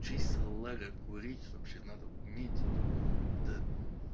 курить вообще надо уметь это